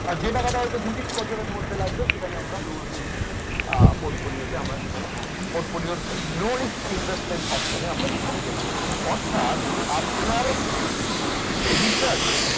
আর যে টাকাটা দু তিন বছরের মধ্যে লাগবে সেটা low risk portfolio আমরা low risk uh investment option এ আমরা সেখানে গেলাম অর্থাৎ আপনার return